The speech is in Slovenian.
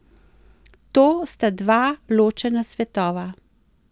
To sta dva ločena svetova.